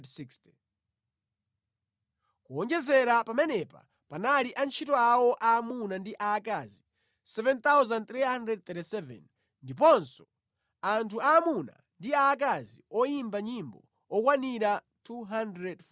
Kuwonjezera pamenepa panali antchito awo aamuna ndi aakazi 7,337 ndiponso anthu aamuna ndi aakazi oyimba nyimbo okwanira 245.